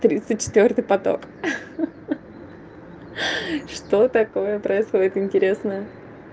тридцать четвёртый поток ха-ха что такое происходит интересное